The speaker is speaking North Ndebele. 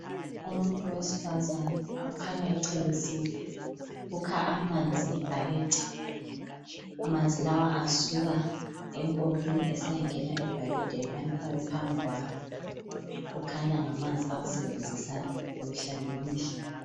Umuntu wesifazana okhanya echelesile, ukha amanzi ngebhakede amanzi lawa asuka empompini esiyangena ebhakedeni alifake phambi kwakhe, kukhanya ngamanzi awasebenzisa mihla ngemihla